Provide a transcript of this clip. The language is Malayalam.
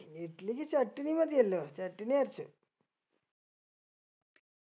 ഇഡ്ലിക്ക് ചട്ടിണി മതിയല്ലോ ചട്ടിണി അരച്ച്